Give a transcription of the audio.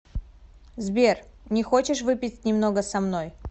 сбер не хочешь выпить немного со мной